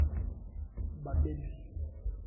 Babeli